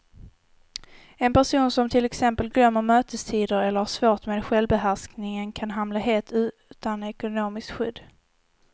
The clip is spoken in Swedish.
En person som till exempel glömmer mötestider eller har svårt med självbehärskningen kan hamna helt utan ekonomiskt skydd.